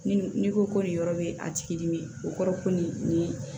Ni n'i ko ko nin yɔrɔ bɛ a tigi dimi o kɔrɔ ko nin